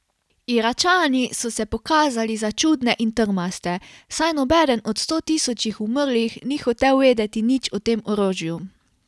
Iračani so se pokazali za čudne in trmaste, saj nobeden od stotisočih umrlih ni hotel vedeti nič o tem orožju.